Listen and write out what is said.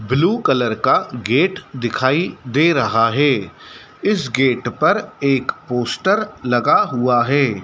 Blue colour का gate दिखाई दे रहा है इस गेट पर एक पोस्टर लगा हुआ हैं।